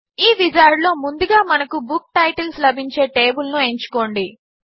ఈ విజార్డ్ లో ముందుగా మనకు బుక్ టైటిల్స్ లభించే టేబుల్ ను ఎంచుకోండి